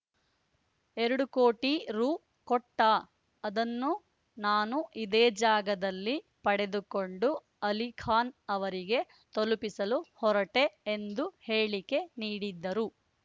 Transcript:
ಎರಡು ಕೋಟಿ ರು ಕೊಟ್ಟ ಅದನ್ನು ನಾನು ಇದೇ ಜಾಗದಲ್ಲಿ ಪಡೆದುಕೊಂಡು ಅಲಿಖಾನ್‌ ಅವರಿಗೆ ತಲುಪಿಸಲು ಹೊರಟೆ ಎಂದು ಹೇಳಿಕೆ ನೀಡಿದ್ದರು